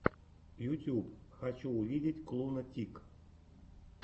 ютюб хочу увидеть клуна тик